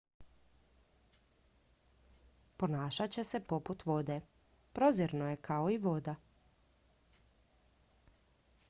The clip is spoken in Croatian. ponašat će se poput vode prozirno je kao i voda